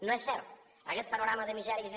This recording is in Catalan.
no és cert aguest panorama de misèries i de